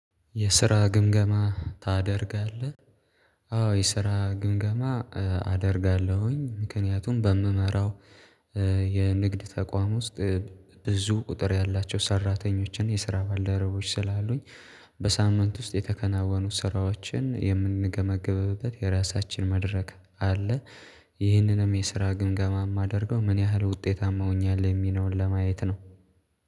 የስራ ግምገማ ታደርጋለህ? አዎ የስራ ግምገማ አደርጋለሁኝ ምክንያቱም በምመራው የንግድ ተቋም ውስጥ ብዙ ቁጥር ያላቸው ሰራተኞችን የስራ ባልደረቦች ስላሉኝ በሳምንት ውስጥ የተከናወኑት ስራዎችን የምንገመግምበት የራሳችን መደረክ አለ ይህንንም የስራ ግምገማ የማደርገው ምን ያህል ውጤታማ ሆኛል የሚኖር ለማየት ነው